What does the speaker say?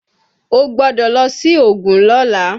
O gbọ́dọ̀ lọ sí Ògùn lọ́la!